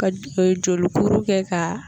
Ka di ee jolikuru kɛ k'a